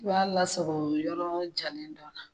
I b'a lasagon yɔrɔ jalen dɔ la